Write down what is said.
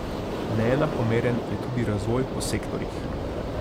Neenakomeren je tudi razvoj po sektorjih.